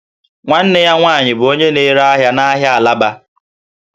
Nwanne ya nwanyị bụ onye na-ere ahịa n'ahịa Alaba